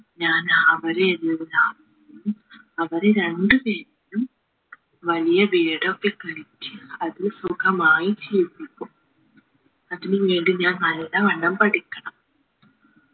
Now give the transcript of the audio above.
ഞാൻ അവരെയെല്ലാം അവരെ രണ്ടു പേരെയും വലിയ വീടൊക്കെ പണിച്ച് അതിൽ സുഗമായി ജീവിപ്പിക്കും അതിനു വേണ്ടി ഞാൻ നല്ലവണ്ണം പഠിക്കണം